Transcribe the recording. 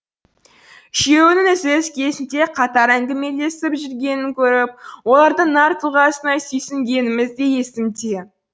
үшеуінің үзіліс кезінде қатар әңгімелесіп жүргенін көріп олардың нар тұлғасына сүйсінгеніміз де есімде